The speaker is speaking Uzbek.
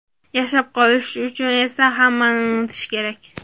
Yashab qolish uchun esa hammasini unutish kerak.